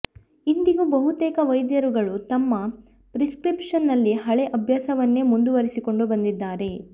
ಇಂದಿಗೂ ಬಹುತೇಕ ವೈದ್ಯರುಗಳು ತಮ್ಮ ಪ್ರಿಸ್ಕ್ರಿಪ್ಷನ್ ನಲ್ಲಿ ಹಳೇ ಅಭ್ಯಾಸವನ್ನೇ ಮುಂದುವರಿಸಿಕೊಂಡು ಬಂದಿದ್ದಾರೆ